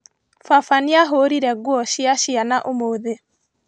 Baba nĩahũrire nguo cia ciana ũmũthĩ?